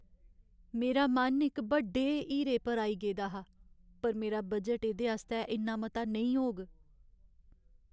मेरा मन इक बड्डे हीरे पर आई गेदा हा, पर मेरा बजट एह्दे आस्तै इन्ना मता नेईं होग।